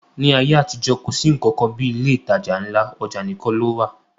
Ní ayé àtijọ́, kò sí nnkan kan bí ilé ìtajà ńlá, ọjà nìkan ló wà